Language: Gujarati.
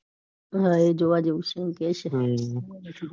હા એ જોવા જેવું એવું કે છે.